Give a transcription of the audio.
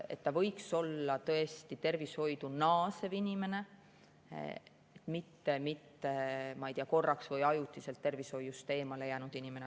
Ta võiks olla tõesti tervishoidu naasev inimene, mitte, ma ei tea, korraks või ajutiselt tervishoiust eemale jäänud inimene.